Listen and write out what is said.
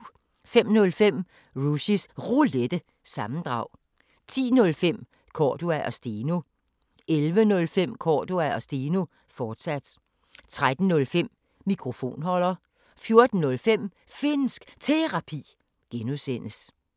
05:05: Rushys Roulette – sammendrag 10:05: Cordua & Steno 11:05: Cordua & Steno, fortsat 13:05: Mikrofonholder 14:05: Finnsk Terapi (G)